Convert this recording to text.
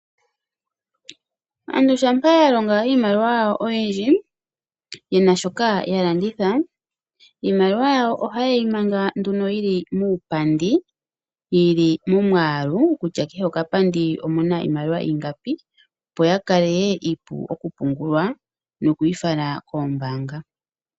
Aantu uuna yalonga iimaliwa yawo oyindji nenge yena shoka yalanditha iimaliwa mbika ohayi mangwa muupandi yili momiyalu, opo yi vule okupungulwa nokufalwa koombaanga.